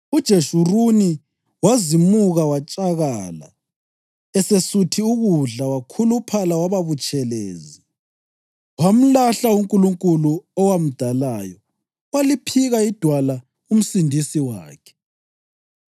UJeshuruni wazimuka watshakala; esesuthi ukudla, wakhuluphala waba butshelezi. Wamlahla uNkulunkulu owamdalayo waliphika iDwala uMsindisi wakhe.